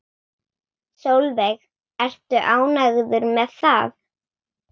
Sólveig: Ertu ánægður með það?